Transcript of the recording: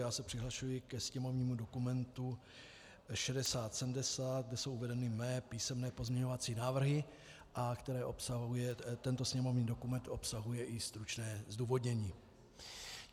Já se přihlašuji ke sněmovnímu dokumentu 6070, kde jsou uvedeny mé písemné pozměňovací návrhy, a tento sněmovní dokument obsahuje i stručné zdůvodnění.